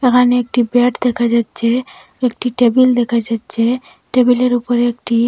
ওখানে একটি বেড দেখা যাচ্ছে একটি টেবিল দেখা যাচ্ছে টেবিলের উপরে একটি--